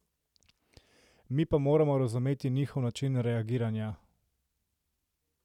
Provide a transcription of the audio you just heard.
Mi pa moramo razumeti njihov način reagiranja.